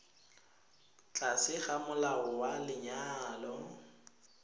tlase ga molao wa lenyalo